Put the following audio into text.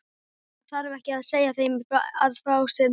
Það þarf ekki að segja þeim að fá sér meira.